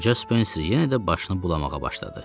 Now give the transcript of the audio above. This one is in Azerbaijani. Qoca Spencer yenə də başını bulamağa başladı.